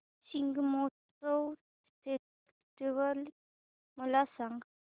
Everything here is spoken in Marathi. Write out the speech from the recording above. शिग्मोत्सव फेस्टिवल मला सांग